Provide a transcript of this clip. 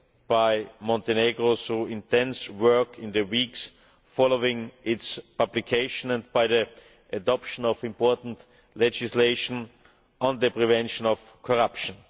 by Montenegro through intense work in the weeks following its publication and by the adoption of important legislation on the prevention of corruption.